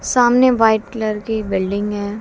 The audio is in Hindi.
सामने व्हाइट कलर की बिल्डिंग है।